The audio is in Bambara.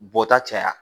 Bɔta caya